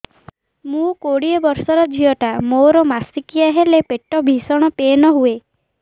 ମୁ କୋଡ଼ିଏ ବର୍ଷର ଝିଅ ଟା ମୋର ମାସିକିଆ ହେଲେ ପେଟ ଭୀଷଣ ପେନ ହୁଏ